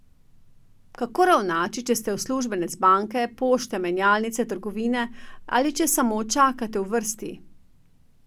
Kako ravnati, če ste uslužbenec banke, pošte, menjalnice, trgovine ali če samo čakate v vrsti?